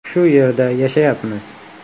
Shu yerda yashayapmiz.